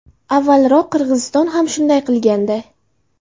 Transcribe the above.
Avvalroq Qirg‘iziston ham shunday qilgandi.